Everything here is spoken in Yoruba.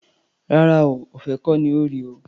Rárá o, ọ̀fẹ́ kọ́ ní í ro o.